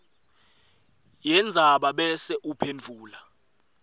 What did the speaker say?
yendzaba bese uphendvula